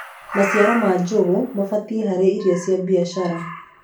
maciaro ma njugu mabatie harĩ irio cia biashara